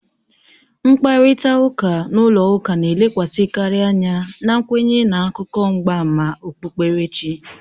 Mkparịta ụka n'ụlọ ụka na-elekwasịkarị anya na nkwenye na akụkọ mgbama okpukperechi